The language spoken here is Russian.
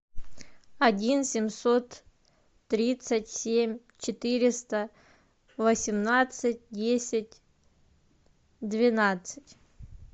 один семьсот тридцать семь четыреста восемнадцать десять двенадцать